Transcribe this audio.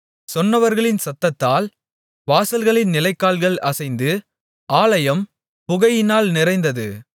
சொன்னவர்களின் சத்தத்தால் வாசல்களின் நிலைக்கால்கள் அசைந்து ஆலயம் புகையினால் நிறைந்தது